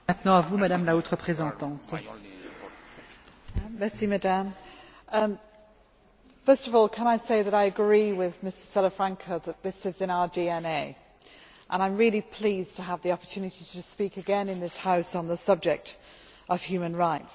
Madam President, first of all can I say that I agree with Mr Salafranca that this is in our DNA, and I am really pleased to have the opportunity to speak again in this House on the subject of human rights.